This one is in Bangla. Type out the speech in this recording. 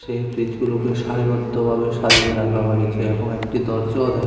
এই ফ্রিজগুলোকে সারিবদ্ধভাবে সাজিয়ে রাখা হয়েছে এবং একটি দরজাও দে--